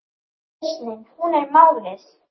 Lausnin hún er málið.